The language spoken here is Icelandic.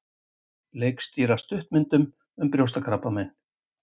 Leikstýra stuttmyndum um brjóstakrabbamein